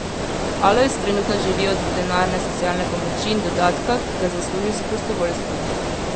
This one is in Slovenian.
Alojz trenutno živi od denarne socialne pomoči in dodatka, ki ga zasluži s prostovoljstvom.